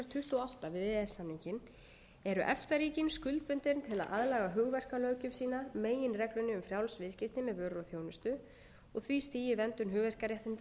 tuttugu og átta við e e s samninginn eru efta ríkin skuldbundin til að aðlaga hugverkalöggjöf sína meginreglunni um frjáls viðskipti með vörur og þjónustu og því stigi í verndun hugverkaréttinda sem náðst hefur